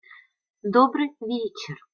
добрый вечер